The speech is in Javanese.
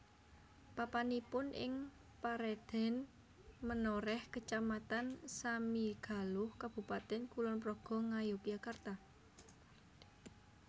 Papanipun ing paredèn Menorèh Kecamatan Samigaluh Kabupatèn Kulon Progo Ngayogyakarta